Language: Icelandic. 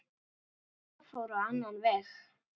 Það fór á annan veg.